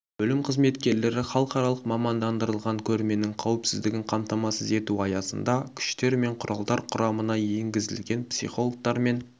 бөлім қызметкерлері халықаралық мамандандырылған көрменің қауіпсіздігін қамтамасыз ету аясында күштер мен құралдар құрамына еңгізілген психологтар мен